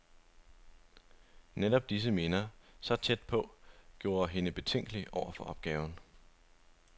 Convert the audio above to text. Netop disse minder, så tæt på, gjorde hende betænkelig over for opgaven.